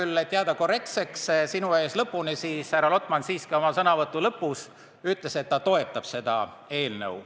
Et jääda sinu ees lõpuni korrektseks, pean küll nentima, et härra Lotman ütles oma sõnavõtu lõpus siiski ka seda, et ta toetab seda eelnõu.